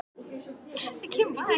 Ég var að fara að hitta